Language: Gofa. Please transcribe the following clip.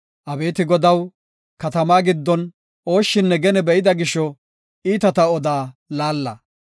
Abeeti Godaw, katamaa giddon ooshshinne gene be7ida gisho iitata odaa laalla.